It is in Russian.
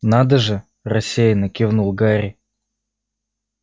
надо же рассеянно кивнул гарри